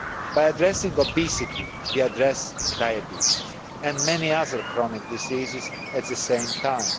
By addressing obesity, we address diabetes and many other chronic diseases at the same time.